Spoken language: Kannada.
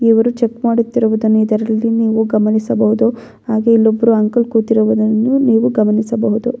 ಇವರು ಚೆಕ್ ಮಾಡುತ್ತಿರುವುದನ್ನು ಇದರಲ್ಲಿ ನೀವು ಗಮನಿಸಬಹುದು ಹಾಗೆ ಇಲ್ಲೊಬ್ರು ಅಂಕಲ್ ಕೂತಿರುವುದನ್ನು ನೀವು ಗಮನಿಸಬಹುದು.